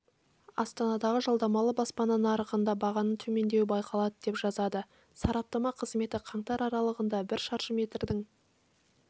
астанадағы жалдамалы баспана нарығында бағаның төмендеуі байқалады деп жазады сараптама қызметі қаңтар аралығында бір шаршы метрдің